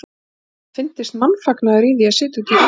Það var eins og þeim fyndist mannfagnaður í því að sitja í rútubíl.